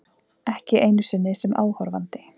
Ekki einu sinni sem áhorfandi.